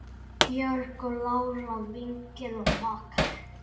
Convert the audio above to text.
Georg, Lára, Vignir og makar.